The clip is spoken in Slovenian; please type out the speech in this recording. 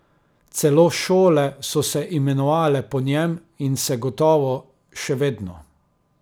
Celo šole so se imenovale po njem in se gotovo še vedno.